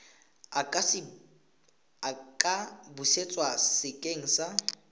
a ka busetswa sekeng sa